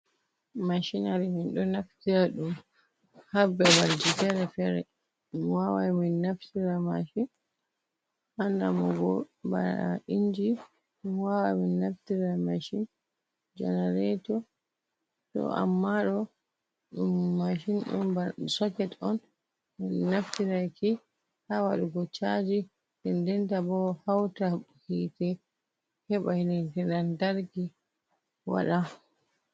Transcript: Mashinari min ɗo naftira ɗum ha babal ji fere-fere. Min wawai min naftira mashin ha namugo bana inji. Min wawan min naftira mashin, janareto. To amma ɗo, ɗum mashin on marɗum soket on. Min naftiraki, ha waɗugo caaji, nden ndenta bo hauta hite heɓa yite lantarki waɗa.